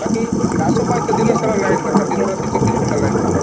ବାକି ଚାଷ ପାଇଁ ତ ଦିନ ସାରା line ଦରକାର ଦିନ ରାତି ଚବିଶ ଘଣ୍ଟା line ଦରକାର